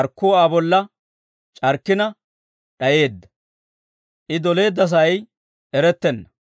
c'arkkuu Aa bolla c'arkkina d'ayeedda; I doleedda sa'ay erettenna.